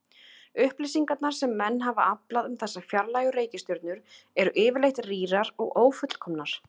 Upplýsingarnar sem menn hafa aflað um þessar fjarlægu reikistjörnur eru yfirleitt rýrar og ófullkomnar.